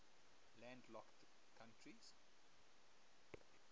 landlocked countries